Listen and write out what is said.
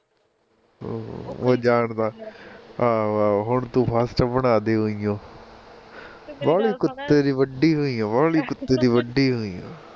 ਓਹ ਜਾਂਦਾ, ਆਹੋ ਆਹੋ ਹੁਣ ਤੂੰ first ਬਣਾਦੇ ਊਈ ਓ ਵਾਲੀ ਓ ਕੁੱਤੇ ਦੀ ਵਢੀ ਹੋਈ ਐ ਵਾਲੀ ਕੁੱਤੇ ਦੀ ਵਢੀ ਹੋਈ ਐ